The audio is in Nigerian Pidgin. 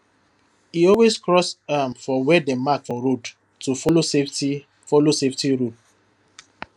e always cross um for where dem mark for road to follow safety follow safety rule